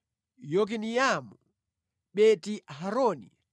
Yokineamu, Beti-Horoni,